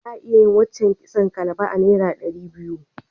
Za a iya yi wace kitson kalba a naira ɗari biyu.